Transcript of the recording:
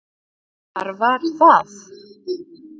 Hvað var var það?